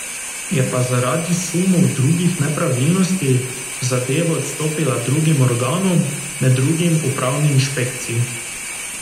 Je pa zaradi sumov drugih nepravilnosti zadevo odstopila drugim organom, med drugim upravni inšpekciji.